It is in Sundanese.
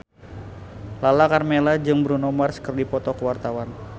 Lala Karmela jeung Bruno Mars keur dipoto ku wartawan